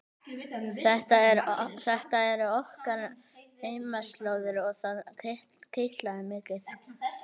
Þetta eru okkar heimaslóðir og það kitlaði mikið.